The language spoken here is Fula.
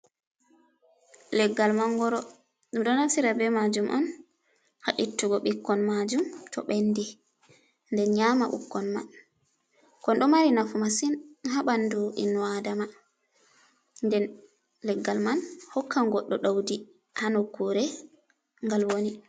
Leggal mangoro, ɗum ɗo naftira be maajum on ha ittugo ɓikkon maajum to ɓendi, nden nyaama ɓikkon man. Kon ɗo mari nafu masin ha ɓandu inno Aadama, nden leggal man hokkan goɗɗo ɗawdi ha nokkuure ngal woni.